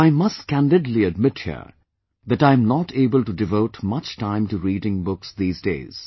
But I must candidly admit here that I am not able to devote much time to reading books these days